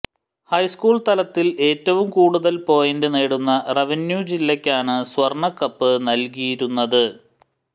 high school തലത്തിൽ ഏറ്റവും കൂടുതൽ പോയിന്റ് നേടുന്ന റവന്യൂ ജില്ലയ്ക്കാണ് സ്വർണക്കപ്പ് നൽകിയിരുന്നത്